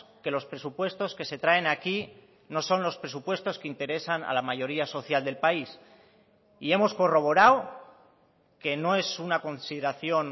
que los presupuestos que se traen aquí no son los presupuestos que interesan a la mayoría social del país y hemos corroborado que no es una consideración